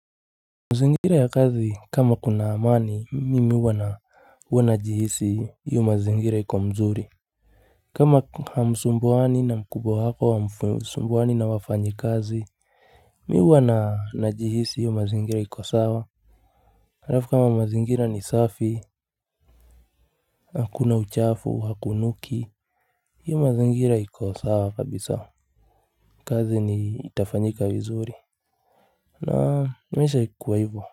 Mazingira ya kazi kama kuna amani, mimi huwa najihisi hiyo mazingira iko mzuri. Kama hamsumbuani na mkubwa wako hamsumbuani na wafanyikazi, mimi huwa najihisi iyo mazingira iko sawa. Harafu kama mazingira ni safi, hakuna uchafu, hakunuki. Iyo mazingira iko sawa kabisa. Kazi ni itafanyika vizuri. Na maisha hukuwa ivo.